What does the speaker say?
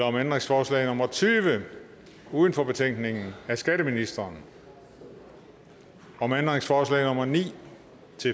om ændringsforslag nummer tyve uden for betænkningen af skatteministeren om ændringsforslag nummer ni